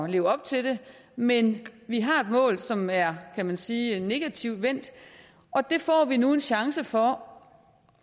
leve op til men vi har et mål som er kan man sige negativt vendt og det får vi nu en chance for